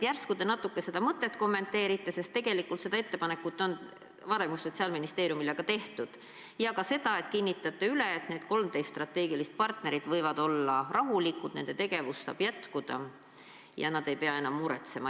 Järsku te natuke seda mõtet kommenteerite, sest tegelikult seda ettepanekut on varem ju Sotsiaalministeeriumile ka tehtud, ja ka seda, et te kinnitate üle, et need 13 strateegilist partnerit võivad olla rahulikud, nende tegevus saab jätkuda ja nad ei pea enam muretsema.